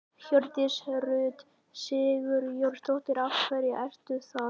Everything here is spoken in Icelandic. Hjördís Rut Sigurjónsdóttir: Af hverju er það?